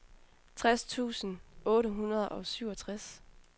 tres tusind otte hundrede og syvogtres